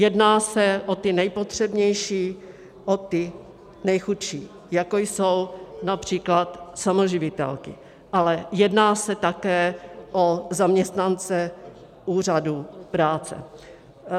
Jedná se o ty nejpotřebnější, o ty nejchudší, jako jsou například samoživitelky, ale jedná se také o zaměstnance úřadů práce.